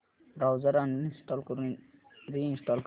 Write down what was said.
browser uninstall करून reinstall कर